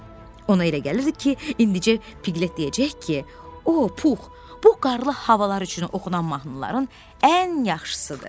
Ona elə gəlirdi ki, indicə Piklit deyəcək ki, o, Pux, bu qarlı havalar üçün oxunan mahnıların ən yaxşısıdır.